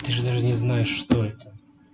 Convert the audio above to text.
ты же даже не знаешь что это